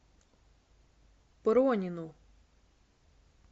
пронину